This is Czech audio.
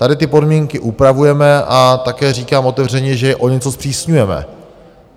Tady ty podmínky upravujeme a také říkám otevřeně, že je o něco zpřísňujeme.